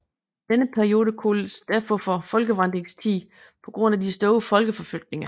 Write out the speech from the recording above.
Denne periode kaldes derfor for folkevandringstiden på grund af de store folkeforflytninger